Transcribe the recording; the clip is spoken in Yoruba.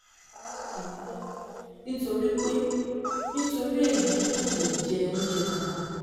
ẹ ràn mí lọ́wọ́ nítorí pé nítorí èyí kò lè jẹ oúnjẹ kankan